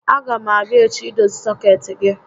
A gá m abịa echi idozi sọkeetị gị